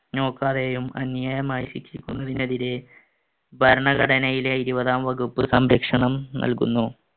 നോക്കാതെയും അന്യായമായി ശിക്ഷിക്കുന്നതിന് എതിരെ ഭരണഘടനയിലെ ഇരുപതാം വകുപ്പ് സംരക്ഷണം നൽകുന്നു.